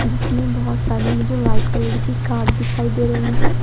इसमें बहुत सारी मुझे व्हाइट कलर की कार दिखाई दे रही हैं।